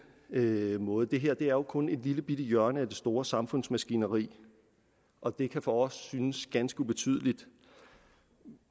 anden måde det her er jo kun et lillebitte hjørne af det store samfundsmaskineri og det kan for os synes ganske ubetydeligt